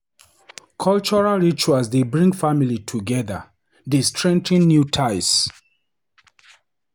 Cultural rituals dey bring family together, dey strengthen new ties.